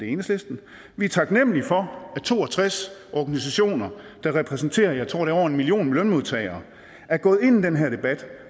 enhedslisten vi er taknemlige for at to og tres organisationer der repræsenterer jeg tror det er over en million lønmodtagere er gået ind i den her debat